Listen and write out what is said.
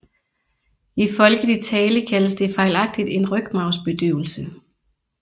I folkelig tale kaldes det fejlagtigt en rygmarvsbedøvelse